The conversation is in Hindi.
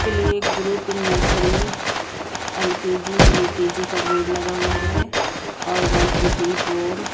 play group nursery LKG UKG का बोर्ड लगा हुआ हैं और वन टू थ्री फोर --